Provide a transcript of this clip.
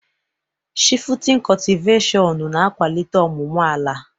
Shifutin cọtiveshịon na-akwalitela ọmụmụ ala.